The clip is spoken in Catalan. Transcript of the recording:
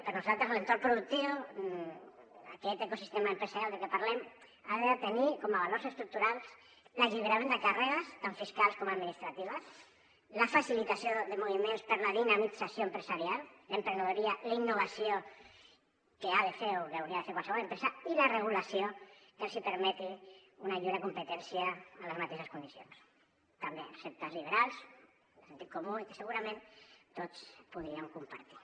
per nosaltres l’entorn productiu aquest ecosistema empre·sarial de què parlem ha de tenir com a valors estructurals l’alliberament de càrre·gues tan fiscals com administratives la facilitació de moviments per a la dinamit·zació empresarial l’emprenedoria la innovació que ha de fer o que hauria de fer qualsevol empresa i la regulació que els hi permeti una lliure competència en les mateixes condicions també receptes lliberals de sentit comú i que segurament tots podríem compartir